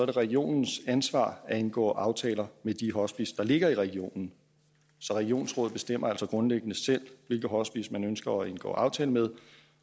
det regionens ansvar at indgå aftaler med de hospicer der ligger i regionen så regionsrådet bestemmer altså grundlæggende selv hvilke hospicer man ønsker at indgå aftale med